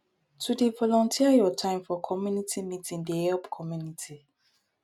to dey volunteer your time for community meeting dey help community